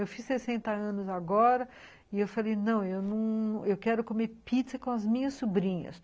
Eu fiz sessenta anos agora e eu falei, não, eu quero comer pizza com as minhas sobrinhas.